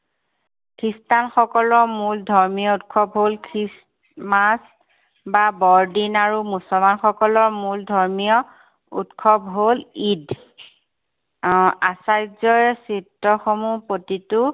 খ্ৰীষ্টান সকলৰ মূল ধৰ্মীয় উৎসৱ হল christmas বা বৰদিন। আৰু মুছলমান সকলৰ মূল ধৰ্মীয় উৎসৱ হল ঈদ। আহ আচাৰ্যই চিত্ৰসমূহ প্ৰতিটো